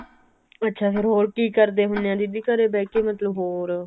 ਅੱਛਾ ਫੇਰ ਹੋਰ ਕੀ ਕਰਦੇ ਹੁਨੇ ਓ ਦੀਦੀ ਘਰੇ ਬਿਹ ਕੇ ਮਤਲਬ ਹੋਰ